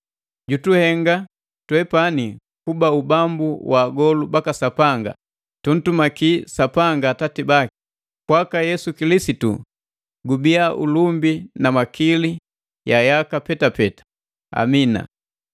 jutuhenga twepani kuba ubambu wa agolu baka Sapanga, tuntumakia Sapanga Atati baki. Kwaka Yesu Kilisitu gubia ulumbi na makili, yaka petapeta! Amina.